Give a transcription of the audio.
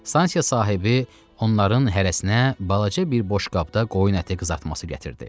Stansiya sahibi onların hərəsinə balaca bir boşqabda qoyun əti qızartması gətirdi.